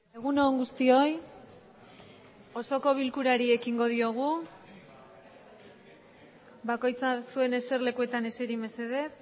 egun on guztioi osoko bilkurari ekingo diogu bakoitza zuen eserlekuetan eseri mesedez